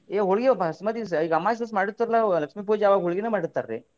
ಏ ಹೊಳ್ಗಿ ದಿವ್ಸ ಈಗ ಅಮಾಸಿ ದಿವ್ಸ ಮಾಡಿರ್ತೇವಲ್ಲ ನಾವು ಲಕ್ಷ್ಮೀ ಪೂಜಾ ಅವಾಗ ಹೊಳ್ಗಿನೆ ಮಾಡಿರ್ತಾರಿ.